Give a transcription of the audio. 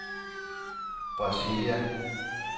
Brasilia